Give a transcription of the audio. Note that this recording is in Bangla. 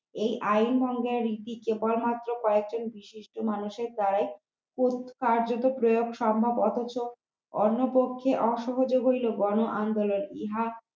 এই আইন ভঙ্গের রীতি কেবলমাত্র কয়েকজন বিশিষ্ট মানুষের দ্বারাই কার্যত প্রয়োগ সম্ভব অথচ অন্য পক্ষে অসহযোগের এই বর্ণ আন্দোলন ইহা